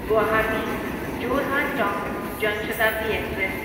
Guwahati Jorhat town Jan Shatabdi express